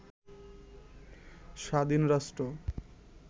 স্বাধীন রাষ্ট্র